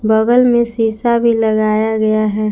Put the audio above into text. बगल में शीशा भी लगाया गया है।